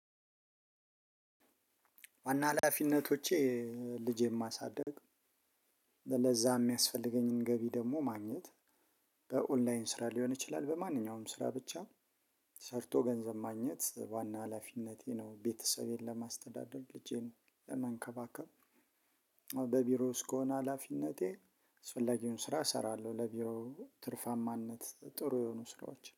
ዋና ሀላፊነቶቼ ልጄን ማሳደግ ለዛ የሚያስፈልገኝን ገቢ ደግሞ ማግኘት- በኦንላይን ስራ ሊሆን ይችላል። በማንኛውም ስራ ብቻ ሰርቶ ገንዘብ ማግኘት ዋና ሀላፊነቴ ነው። ቤተሰቤን ለማስተዳደር ልጄን ለመንከባከብ- በቢሮ ውስጥ ከሆነ ሀላፊነቴ አስፈላጊውን ስራ እሰራለሁ። ለቢሮ ትርፋማነት ጥሩ የሆኑ ስራዎች-